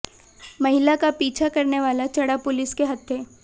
महिला का पीछा करने वाला चढ़ा पुलिस के हत्थे